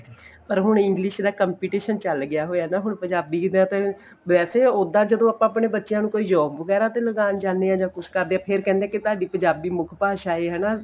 ਪਰ ਹੁਣ English ਦਾ competition ਚੱਲ ਗਿਆ ਹੋਇਆ ਨਾ ਹੁਣ ਪੰਜਾਬੀ ਦਾ ਤੇ ਵੈਸੇ ਉਦਾ ਜਦੋਂ ਆਪਣੇ ਬੱਚਿਆਂ ਨੂੰ ਕੋਈ job ਵਗੈਰਾ ਤੇ ਲਗਾਣ ਜਾਂਦੇ ਆ ਜਾਂ ਕੁੱਝ ਕਰਦੇ ਆ ਫੇਰ ਕਹਿੰਦੇ ਏ ਤੁਹਾਡੀ ਪੰਜਾਬੀ ਮੁੱਖ ਭਾਸ਼ਾ ਏ ਹਨਾ